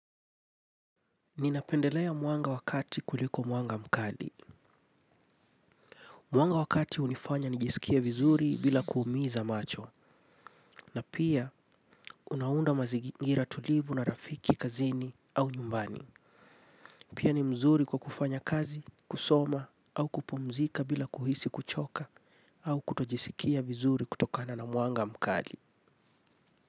Ninapendelea mwanga wakati kuliko mwanga mkali. Mwanga wakati unifanya nijisikie vizuri bila kuumiza macho. Na pia unaunda mazigira tulivu na rafiki kazini au nyumbani. Pia ni mzuri kwa kufanya kazi, kusoma au kupumzika bila kuhisi kuchoka au kutojisikia vizuri kutokana na mwanga mkali.